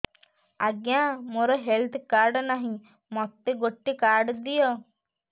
ଆଜ୍ଞା ମୋର health card ନାହିଁ ମୋତେ ଗୋଟେ କାର୍ଡ ଦିଅ